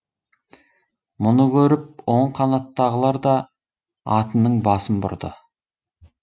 мұны көріп оң қанаттағылар да атының басын бұрды